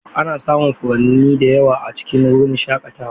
Ana samun furanni da yawa a cikin wurin shakatawa.